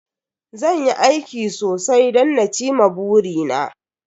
Zan yi aiki sosai don na ci ma buri na